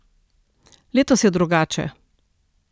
Letos je drugače.